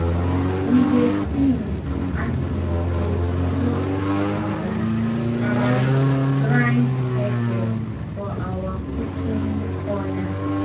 we dey sing as we dey roast corn and grind pepper for our cooking corner.